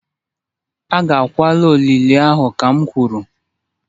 Agakwala olili ahụ kam kwuru!